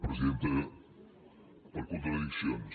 presidenta per contradiccions